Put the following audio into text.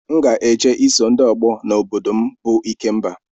M ga-eje iso ndị ọgbọ na obodo m bụ ikemba